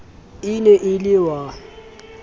e ne e le wa